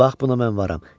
Bax buna mən varam.